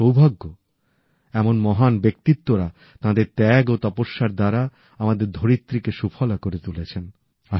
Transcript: আমাদের সৌভাগ্য এমন মহান ব্যক্তিত্বরা তাঁদের ত্যাগ ও তপস্যার দ্বারা আমাদের ধরিত্রী কে সুফলা করে তুলেছেন